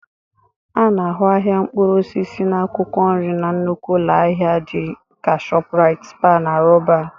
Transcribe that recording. A na-ahụ ahịa mkpụrụ osisi na akwụkwọ nri na nnukwu ụlọ ahịa dị ka Shoprite, Spar na Roban